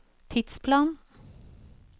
tidsplan